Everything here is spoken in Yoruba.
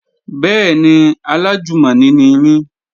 Bẹ́ẹ̀ni, alájùmọ̀ni ni mí